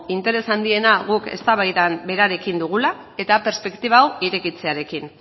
interes handiena guk eztabaida berarekin dugula eta perspektiba hau irekitzearekin